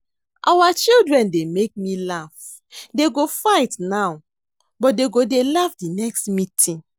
Our children dey make me laugh, dey go fight now but dey go dey laugh the next meeting